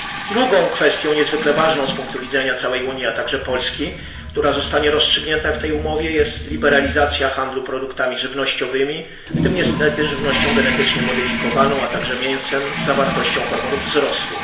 Drugą kwestią, niezwykle ważną z punktu widzenia całej Unii, a także Polski, która zostanie rozstrzygnięta w tej umowie, jest liberalizacja handlu produktami żywnościowymi, w tym też niestety żywnością genetycznie modyfikowaną, a także mięsem z zawartością hormonów wzrostu.